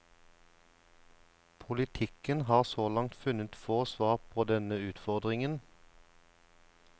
Politikken har så langt funnet få svar på denne utfordringen.